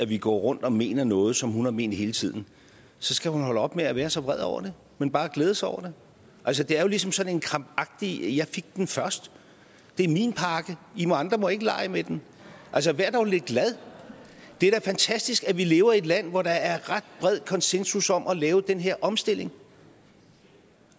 vi går rundt og mener noget som hun har ment hele tiden så skal hun holde op med at være så vred over det men bare glæde sig over det det er jo ligesom sådan noget krampagtigt jeg fik den først det er min pakke og i andre må ikke lege med den vær dog lidt glad det er da fantastisk at vi lever i et land hvor der er ret bred konsensus om at lave den her omstilling